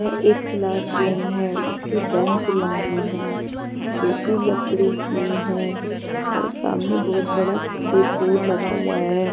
यह एक classroom है इसकी बेंच लंबी है जो कि लकड़ी की है और सामने बहुत बड़ा सफेद बोर्ड लगा हुआ है.